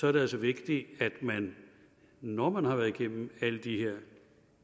er det altså vigtigt at man når man har været igennem alle de her